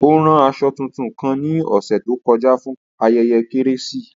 O ran aṣọ tuntun kan ni ọsẹ to kọja fun ayẹyẹ Keresimesi.